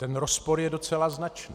Ten rozpor je docela značný.